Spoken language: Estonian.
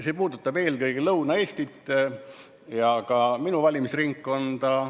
See puudutab eelkõige Lõuna-Eestit ja ka minu valimisringkonda.